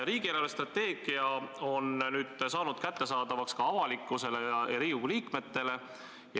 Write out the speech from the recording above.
Riigi eelarvestrateegia on nüüd kättesaadavaks tehtud ka avalikkusele ja Riigikogu liikmetele.